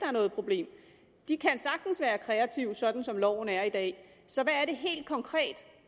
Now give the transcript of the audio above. er noget problem de kan sagtens være kreative sådan som loven er i dag så hvad er det helt konkret